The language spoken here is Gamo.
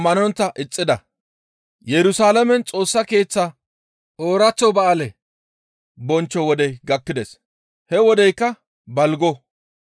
Yerusalaamen Xoossa Keeththa ooraththo ba7aale bonchcho wodey gakkides; he wodeykka balgo.